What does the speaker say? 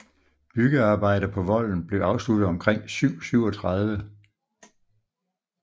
Byggearbejder på volden blev afsluttet omkring 737